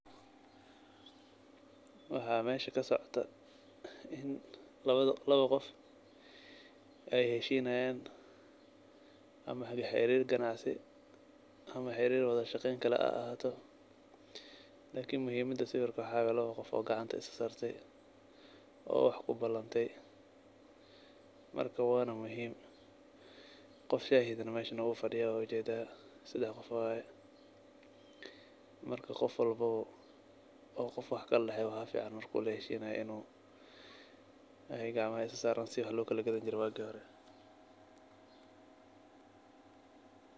Waxaa meesha kasocoto in labada laba qof ay heshiinayaan ama xiriir ganacsi ama xiriir wada shaqeyn kale ha ahaato. Lakini muhiimada sawirka waxaa waay laba qof oo gacanta is sa saartay oo wax ku balanatay. Marka, waana muhiim qof shaahidna meesha waa fidiya wa ujeedaa sedax qof waay. Marka, qof walba oo qof wax kala daxeeyo waxaa ficaan mark uu laheshinaayo inuu gacamaha is sa saaraan si wax loo kala gadanjiray waagi hore.